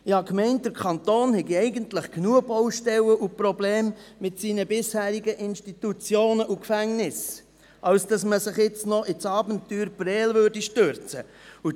Ich habe gedacht, der Kanton habe eigentlich genügend Baustellen und Probleme mit seinen bisherigen Institutionen und Gefängnissen, als dass man sich jetzt noch ins Abenteuer Prêles stürzen würde.